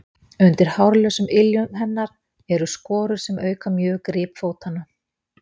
undir hárlausum iljum hennar eru skorur sem auka mjög grip fótanna